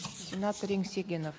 сенатор еңсегенов